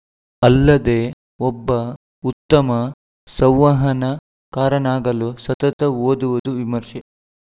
ಅಲ್ಲದೇ ಒಬ್ಬ ಉತ್ತಮ ಸಂವಹನ ಕಾರನಾಗಲು ಸತತ ಓದುವುದು ವಿಮರ್ಶೆ